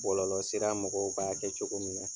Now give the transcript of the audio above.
Bɔlɔlɔ sira mɔgɔw k'a kɛ cogo min na